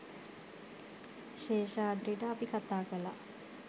ශේෂාද්‍රිට අපි කතා කළා.